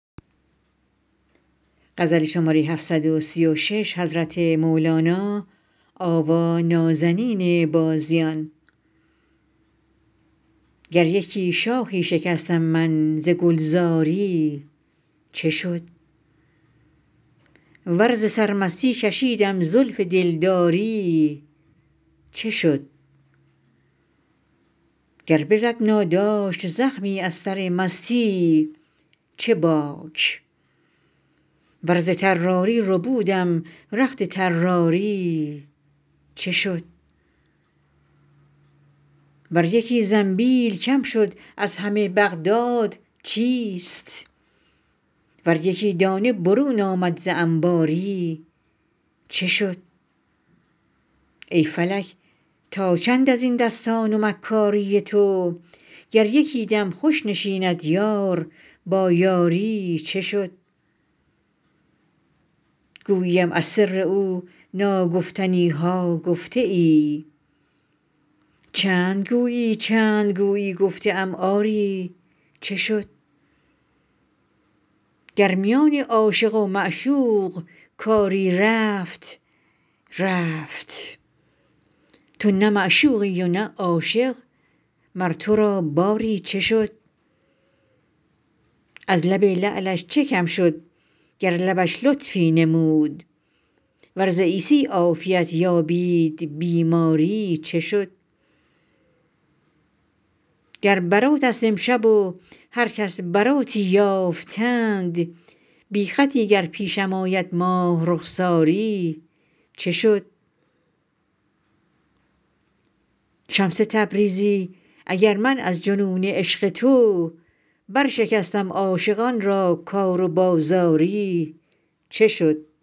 گر یکی شاخی شکستم من ز گلزاری چه شد ور ز سرمستی کشیدم زلف دلداری چه شد گر بزد ناداشت زخمی از سر مستی چه باک ور ز طراری ربودم رخت طراری چه شد ور یکی زنبیل کم شد از همه بغداد چیست ور یکی دانه برون آمد ز انباری چه شد ای فلک تا چند از این دستان و مکاری تو گر یکی دم خوش نشیند یار با یاری چه شد گوییم از سر او ناگفتنی ها گفته ای چند گویی چند گویی گفته ام آری چه شد گر میان عاشق و معشوق کاری رفت رفت تو نه معشوقی نه عاشق مر تو را باری چه شد از لب لعلش چه کم شد گر لبش لطفی نمود ور ز عیسی عافیت یابید بیماری چه شد گر براتست امشب و هر کس براتی یافتند بی خطی گر پیشم آید ماه رخساری چه شد شمس تبریزی اگر من از جنون عشق تو برشکستم عاشقان را کار و بازاری چه شد